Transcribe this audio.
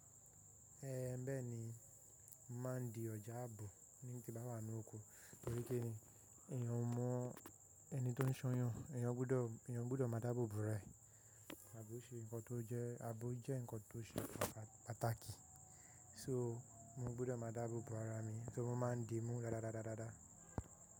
Bẹ́ẹ̀ ni, mo màá ń di ọjà àbò, nígbà tí bàá wà ní oko, torí kíni, èèyàn mọ ẹni tó ń ṣọyàn, èèyàn gbọdọ̀ máa dáàbò bo ara ẹ̀. Àbò jẹ́ ǹkan tó ṣe pàtàkì. So, mo gbọdọ̀ máa dáàbò bo ara mi, so, mo máa ń di mú dáadáa.